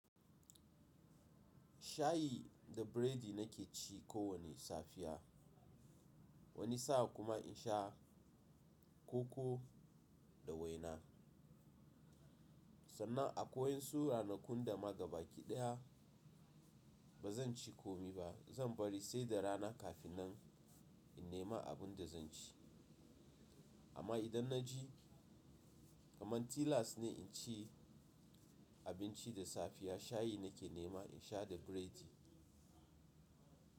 Shayi da biredi nake ci kowane safiya, wani sa'a kuma in sha koko da waina. Sannan akeai wasu ranakun da ma gaba kiɗaya ba zan ci komi ba, zan bari sai da rana kafin nan in nema abin da zan ci. Amma idan na ji kamar tilas ne in ci abinci da safiya shayi nake nema in sha da biredi.